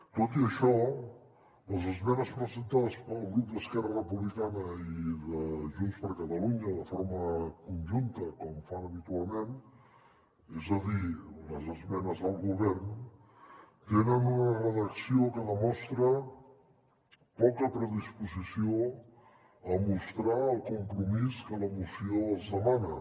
tot i això les esmenes presentades pel grup d’esquerra republicana i de junts per catalunya de forma conjunta com fan habitualment és a dir les esmenes del govern tenen una redacció que demostra poca predisposició a mostrar el compromís que la moció els demana